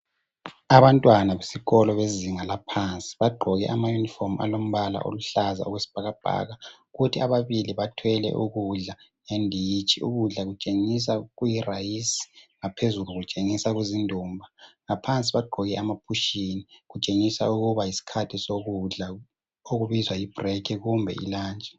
Abantwana besikolo bezinga laphansi bagqoke amayunifomu alombala oluhlaza okwesibhakabhaka, kuthi ababili bathwele ukudla ngenditshi, ukudla kutshengisa kuyirayisi, ngaphezulu kutshengisa kuzindumba, ngaphansi bagqoke amaphushini, kutshengisa ukuba yisikhathi sokudla, okubizwa yi break kumbe i lunch.